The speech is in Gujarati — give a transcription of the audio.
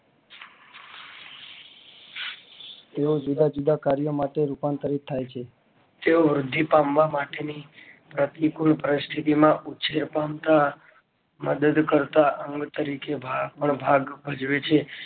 એવા જુદા જુદા કાર્યો માટે રૂપાંતરિત થાય છે જે વૃદ્ધિ પામવા માટે ની પ્રતિકૂળ પરિસ્થિતિ માં ઉછેર તંત્ર છે મદદ કરતા અંગ તારી કે નો ભાગ ભજેવે છે.